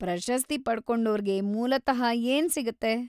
ಪ್ರಶಸ್ತಿ ಪಡ್ಕೋಂಡೋರ್ಗೆ ಮೂಲತಃ ಏನ್‌ ಸಿಗತ್ತೆ?